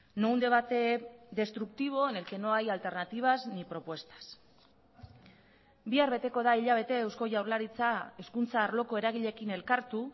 no un debate destructivo en el que no hay alternativas ni propuestas bihar beteko da hilabete eusko jaurlaritza hezkuntza arloko eragileekin elkartu